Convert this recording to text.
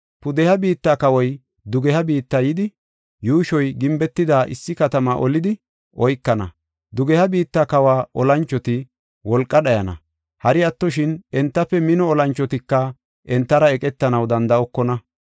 Pudeha biitta kawoy dugeha biitta yidi, yuushoy gimbetida issi katama olidi oykana. Dugeha biitta kawa olanchoti wolqa dhayana; hari attoshin, entafe mino olanchotika entara eqetanaw danda7okona.